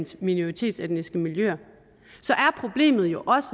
minoritetsetniske miljøer så er problemet jo også